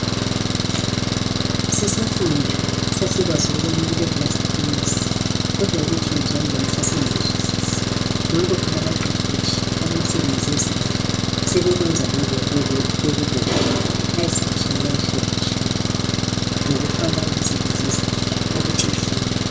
Sisafunda sasikwazi ukubana kule blast furnace kodwa ukuthi yenziwa njani sasingakuzwisisi. Nanko phela abaqeqetshi abemsebenzi yezandla sebekwenza bekubona ayi sibatshayela ihlombe ngokufaka imisebenzi yezandla ukuthi ifundwe.